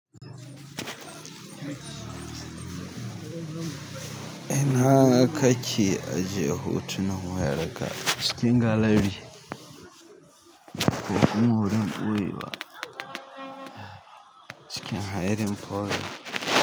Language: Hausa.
Ina kake ajiye hotunan wayarka? A cikin galery ko kuma wurin ɓoyewa cikin hiding polder.